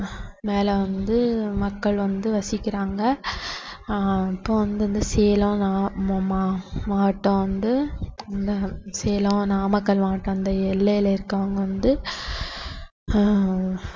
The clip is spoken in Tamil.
மேல வந்து மக்கள் வந்து வசிக்கிறாங்க ஆஹ் அப்ப வந்து இந்த சேலம் நா~ மா~ மாவட்டம் வந்து அஹ் சேலம், நாமக்கல் மாவட்டம் அந்த எல்லையில இருக்கிறவங்க வந்து ஆஹ்